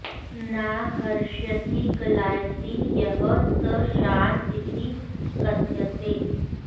न हृष्यति ग्लायति यः स शान्त इति कथ्यते